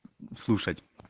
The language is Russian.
слушать